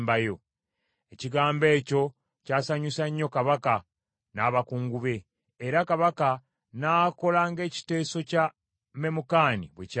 Ekigambo ekyo kyasanyusa nnyo Kabaka n’abakungu be, era Kabaka n’akola ng’ekiteeso kya Memukani bwe kyali.